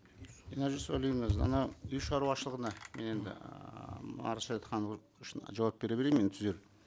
динара жусупалиевна біз ана үй шаруашылығына мен енді ыыы үшін жауап бере берейін мен түзеп